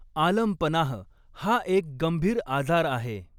आलमपनाह, हा एक गंभीर आजार आहे.